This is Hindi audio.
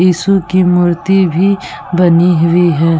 ईसु की मूर्ति भी बनी हुई है ।